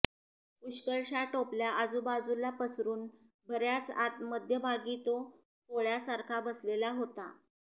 पुष्कळशा टोपल्या आजुबाजूला पसरून बर्याच आत मध्यभागी तो कोळ्यासारखा बसलेला होता